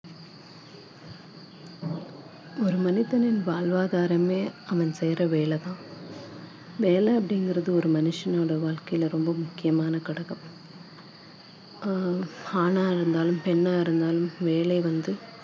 ஒரு மனிதனின் வாழ்வாதாரமே அவன் செய்யுற வேலைதான் வேலை அப்படிங்கறது ஒரு மனுஷனோட வாழ்க்கையில ரொம்ப முக்கியமான ஆ~ ஆணா இருந்தாலும் பெண்ணா இருந்தாலும் வேலை வந்து